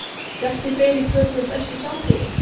Bjarki Freyr í körfu Besti samherjinn?